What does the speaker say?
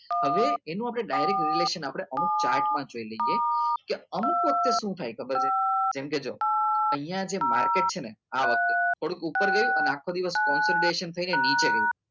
હવે એનું આપણે direct relation ક્ટ આપણે અમુક ચાર્ટમાં જોઈ લઈએ કે અમુક વખતે શું થાય તો ખબર છે કેમ કે જો અહીંયા જે માર્કેટ છે ને આ વખતે થોડું ઉપર નીચે ગયું અને આખો દિવસ થઈને નીચે ગઈ